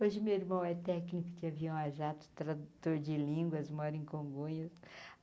Hoje, meu irmão é técnico de avião a jato, tradutor de línguas, mora em Congonhas.